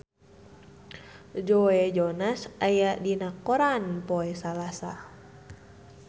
Joe Jonas aya dina koran poe Salasa